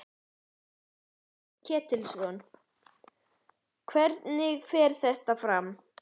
Páll Ketilsson: Hvernig fer þetta fram?